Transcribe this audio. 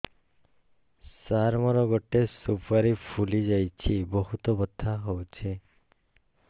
ସାର ମୋର ଗୋଟେ ସୁପାରୀ ଫୁଲିଯାଇଛି ବହୁତ ବଥା ହଉଛି